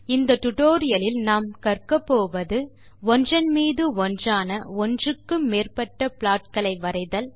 இந்த டுடோரியலில் கற்பது ஒன்றன் மீது ஒன்றான ஒன்றுக்கு மேற்பட்ட plotகளை வரைதல்